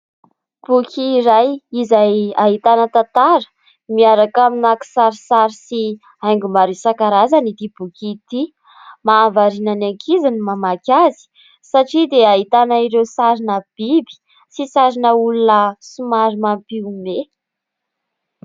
Boky iray izay ahitana tantara miaraka amina kisarisary sy haingo maro isan-karazany ity boky ity, mahavariana ny ankizy ny mamaky azy satria dia ahitana ireo sarina biby sy sarina olona somary mampiomehy.